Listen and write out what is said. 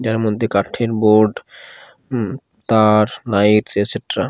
যার মধ্যে কাঠের বোর্ড উম তার লাইটস এটসেট্রা ।